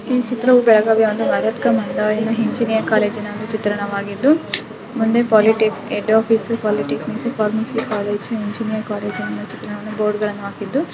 ಈ ಚಿತ್ರವು ಬೆಳಗಾವಿಯ ಒಂದು ಮರತ್ಕಾ ಮಂದಾಯಿನಿ ಇಂಜಿನಿಯರಿಂಗ್ ಕಾಲೇಜಿನ ಚಿತ್ರಣವಾಗಿದ್ದ ಮುಂದೆ ಪಾಲಿಟಿಕ್ ಹೆಡ್ ಆಫೀಸ್ ಪಾಲಿಟಿಕ್ ಡಿಪಾರ್ ಮೆನ್ನಿ ಕಾಲೇಜು ಇಂಜಿನಿಯರಿಂಗ್ ಕಾಲೇಜು ನ ಬೋರ್ಡ್ ಅನ್ನು ಹಾಕಿದ್ದು.